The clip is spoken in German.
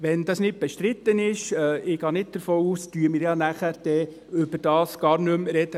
Wenn das nicht bestritten ist – ich gehe nicht davon aus – sprechen wir nachher ja gar nicht mehr darüber.